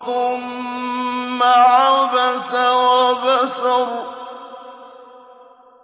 ثُمَّ عَبَسَ وَبَسَرَ